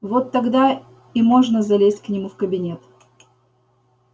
вот тогда и можно залезть к нему в кабинет